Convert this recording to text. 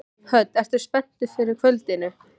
Hödd: Ertu spenntur fyrir kvöldinu?